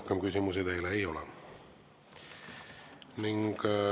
Rohkem küsimusi teile ei ole.